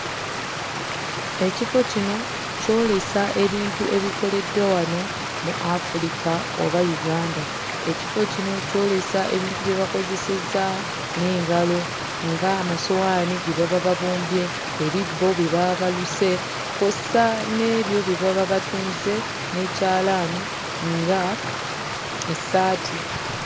Ekifo kino kyolesa ebintu ebikoleddwa wano mu Afulika oba Uganda ekifo kino kyolesa ebintu bye bakozesezza n'engalo nga amasowaani ge baba babumbye ebibbo bye baba baluse kw'ossa n'ebyo bye baba batunze n'ekyalaani nga essaati.